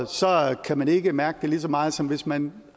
kan man ikke mærke det lige så meget som hvis man